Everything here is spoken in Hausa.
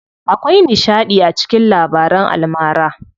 Akwai nishaɗi a cikin labaran almara.